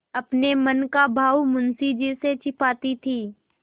अपने मन का भाव मुंशी से छिपाती थी